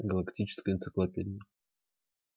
галактическая энциклопедия